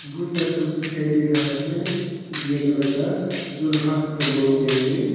बहुत सारा कुर्सी दिखाई दे रहा है ग्रे कलर का जो लोहा से बनाया गया है ।